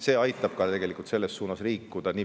See aitab samuti selles suunas liikuda.